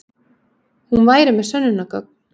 Hún væri með sönnunargögn.